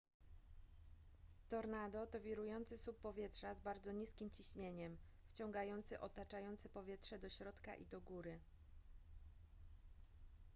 tornado to wirujący słup powietrza z bardzo niskim ciśnieniem wciągający otaczające powietrze do środka i do góry